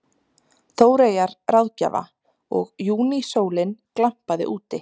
Þóreyjar ráðgjafa og júnísólin glampaði úti.